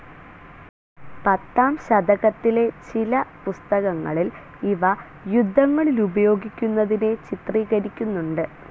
പത്താം ശതകത്തിലെ ചില പുസ്തകങ്ങളിൽ ഇവ യുദ്ധങ്ങളിലുപയോഗിക്കുനതിനെ ചിത്രീകരിക്കുന്നുണ്ട്.